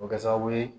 O bɛ kɛ sababu ye